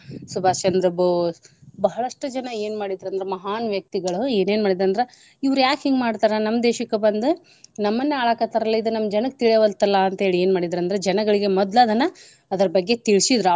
ಸುಭಾಷ್ ಚಂದ್ರ ಬೋಸ್ ಬಹಳಷ್ಟು ಜನ ಏನ್ ಮಾಡಿದ್ರ ಅಂದ್ರ ಮಹಾನ್ ವ್ಯಕ್ತಿಗಳು ಏನೇನ ಮಾಡಿದ್ರ ಅಂದ್ರ ಇವ್ರ ಯಾಕ ಹಿಂಗ ಮಾಡ್ತಾರ ನಮ್ಮ್ ದೇಶಕ್ಕ ಬಂದ ನಮ್ಮನ ಆಳಾಕತ್ತಾರ್ಲಾ ಇದ ನಮ್ಮ ಜನಕ್ಕ ತಿಳಿಯವಾಲ್ತಲ್ಲ ಅಂತೇಳಿ ಏನ್ ಮಾಡಿದ್ರ ಅಂದ್ರ ಜನಗಳಿಗೆ ಮದ್ಲ ಅದನ್ನ ಅದರ ಬಗ್ಗೆ ತಿಳಿಸಿದ್ರ.